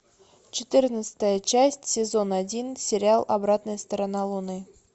четырнадцатая часть сезон один сериал обратная сторона луны